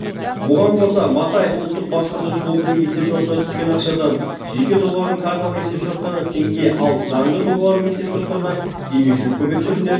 бұған қоса матаев ұлттық баспасөз клубының есепшотына түскен ақшадан жеке тұлғалардың карталық есепшоттарына теңге ал заңды тұлғалардың есепшоттарына демеушілік көмек түрінде